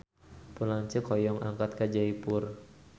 Pun lanceuk hoyong angkat ka Jaipur